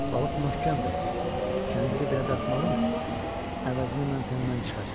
Balıq möhkəm dayan, kəndiri belə dartmağın əvəzini mən səndən çıxacam.